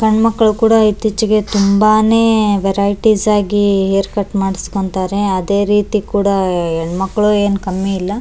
ಸಣ್ಣ ಮಕ್ಳು ಕೂಡ ಇತ್ತೀಚಿಗೆ ತುಂಬಾನೇ ವೆರೈಟಿಸ್ ಆಗಿ ಹೇರ್ ಕಟ್ ಮಾಡ್ಸ್ಕೊಂತರೇ ಅದೇ ರೀತಿ ಹೆಣ್ಮಕ್ಳು ಏನ್ ಕಮ್ಮಿ ಇಲ್ಲ --